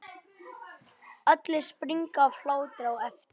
Allir springa af hlátri á eftir.